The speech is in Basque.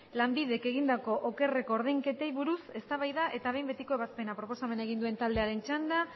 lanbidek egindako okerreko ordainketei buruz eztabaida eta behin betiko ebazpena proposamena egin duen taldearen txanda